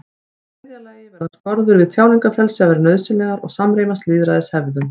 Í þriðja lagi verða skorður við tjáningarfrelsi að vera nauðsynlegar og samrýmast lýðræðishefðum.